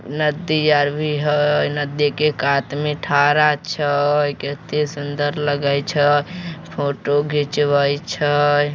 नदी आर भी है नदी के कात में ठडा छै केते सुंदर लगे छै फोटो घिचबे छै।